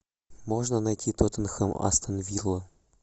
можно найти тоттенхэм астон вилла